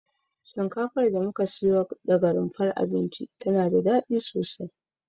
Shinkafar da muka siyo daga rumfar abinci tana da dadi sosai